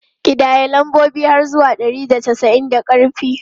Ƙidaya lambobi har zuwa ɗari da casa'in da ƙarfi!